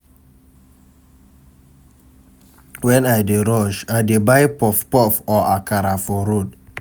Wen I dey rush, I dey buy puff puff or akara for road.